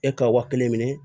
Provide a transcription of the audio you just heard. E ka waa kelen minɛ